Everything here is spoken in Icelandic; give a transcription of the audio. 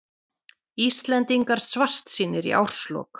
Íslendingar svartsýnir í árslok